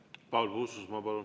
Paul Puustusmaa, palun!